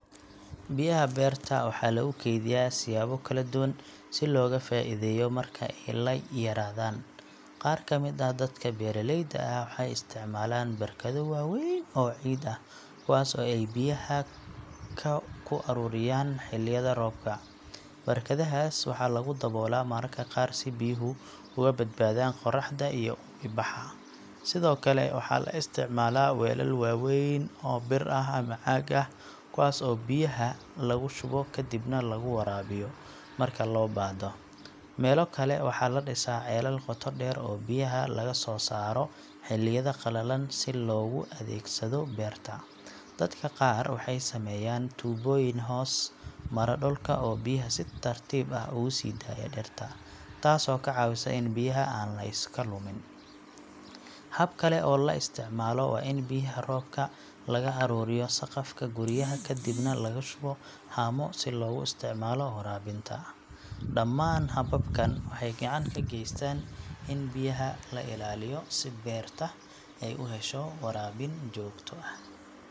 Biyaha beerta waxaa lagu kaydiyaa siyaabo kala duwan si looga faa’iideeyo marka ay yaraadaan. Qaar ka mid ah dadka beeraleyda ah waxay isticmaalaan barkado waaweyn oo ciid ah kuwaas oo ay biyaha ku ururiyaan xilliyada roobka. Barkadahaas waxaa lagu daboola mararka qaar si biyuhu uga badbaadaan qorraxda iyo uumibaxa. Sidoo kale, waxaa la isticmaalaa weelal waaweyn oo bir ah ama caag ah kuwaas oo biyaha lagu shubo kadibna laga waraabiyo marka loo baahdo. Meelo kale waxaa la dhisaa ceelal qoto dheer oo biyaha laga soo saaro xilliyada qalalan si loogu adeegsado beerta. Dadka qaar waxay sameeyaan tuubooyin hoos mara dhulka oo biyaha si tartiib ah ugu sii daaya dhirta, taasoo ka caawisa in biyaha aan la iska lumin. Hab kale oo la isticmaalo waa in biyaha roobka laga aruuriyo saqafka guryaha kadibna lagu shubo haamo si loogu isticmaalo waraabinta. Dhammaan hababkan waxay gacan ka geystaan in biyaha loo ilaaliyo si beerta ay u hesho waraabin joogto ah.